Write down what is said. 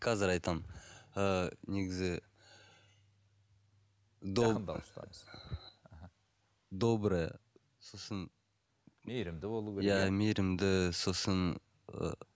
қазір айтамын ыыы негізі добрая сосын мейірімді сосын ыыы